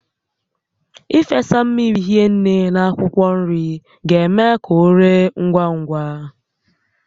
Ị fesa mmiri hinne na akwụkwọ nri ga-eme ka o ree ngwa ngwá